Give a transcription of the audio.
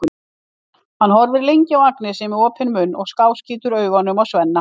Hann horfir lengi á Agnesi með opinn munn og skáskýtur síðan augunum á Svenna.